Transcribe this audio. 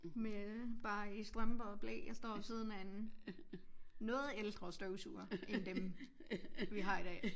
Med bare i strømper og ble og står ved siden af en noget ældre støvsuger end dem vi har i dag